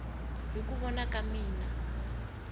hi ku vona ka mina